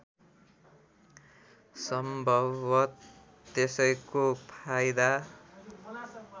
सम्भवत त्यसैको फाइदा